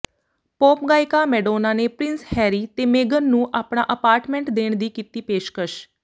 pop ਗਾਇਕਾ Madonna ਨੇ prince Harry ਤੇ ਮੇਗਨ ਨੂੰ ਆਪਣਾ ਅਪਾਰਟਮੈਂਟ ਦੇਣ ਦੀ ਕੀਤੀ ਪੇਸ਼ਕਸ਼